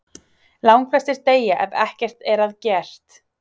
Langflestir deyja ef ekkert er að gert.